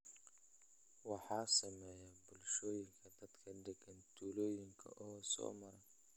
waxaa sameeya bulshooyinka dadka degan tuulooyinka oo soo mara